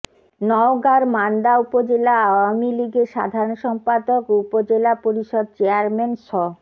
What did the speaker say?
নওগাঁর মান্দা উপজেলা আওয়ামী লীগের সাধারণ সম্পাদক ও উপজেলা পরিষদ চেয়ারম্যান স